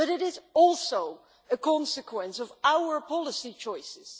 However, it is also a consequence of our policy choices.